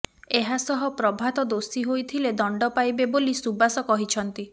ଏହାସହ ପ୍ରଭାତ ଦୋଷୀ ହୋଇଥିଲେ ଦଣ୍ଡ ପାଇବେ ବୋଲି ସୁବାସ କହିଛନ୍ତି